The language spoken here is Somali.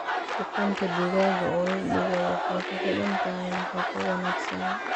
Ukunta digaaga oo la dhigaa waxay ku xidhan tahay nafaqo wanaagsan.